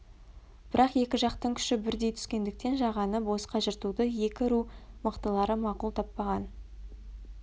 бірақ екі жақтың күші бірдей түскендіктен жағаны босқа жыртуды екі ру мықтылары мақұл таппаған